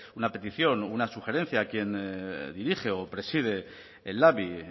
una petición o una sugerencia a quien dirige o preside el labi